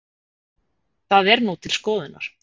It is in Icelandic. Það er nú til skoðunar